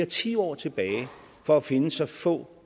tiår tilbage for at finde så få